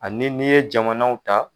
Ani n'i ye jamanaw ta.